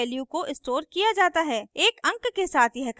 एक अंक के साथ यह करते हैं